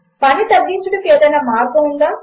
పని తగ్గించుటకు ఏదైనా మార్గము ఉందా